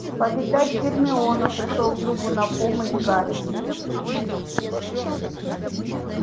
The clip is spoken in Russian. повидать гермиону пришёл другу на помощь гарри